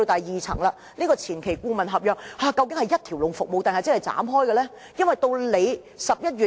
然後，有關前期顧問合約，究竟是一條龍服務抑或是分拆的？